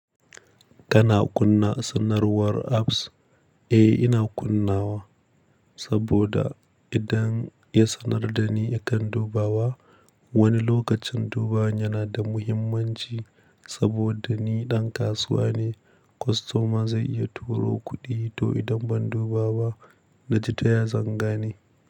Kana kunna sanarwar apps? Eh, ina kunnawa saboda idan ya sanar da ni akan dubawa, wani lokacin dubawa yana da muhimmanci saboda ni ɗan kasuwa ne. Kostoma zai iya turo kuɗi to idan ban dubawa na ji ta ya zanga ni.